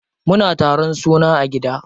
Muna taron suna a gida.